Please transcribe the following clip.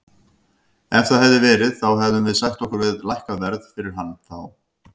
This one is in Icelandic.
Ef það hefði verið þá hefðum við sætt okkur við lækkað verð fyrir hann þá.